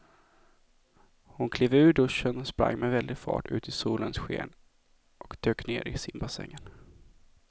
Hon klev ur duschen, sprang med väldig fart ut i solens sken och dök ner i simbassängen.